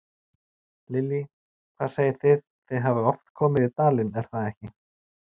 Lillý: Hvað segið þið, þið hafið oft komið í dalinn, er það ekki?